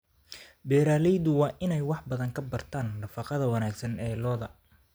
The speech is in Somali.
Beeraleydu waa inay wax badan ka bartaan nafaqada wanaagsan ee lo'da.